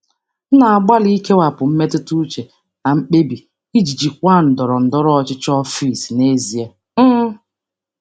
Ana m agbalị ikewapụ mmetụta uche na mkpebi iji jikwaa ndọrọndọrọ ụlọ ọrụ n'ezoghị ọnụ.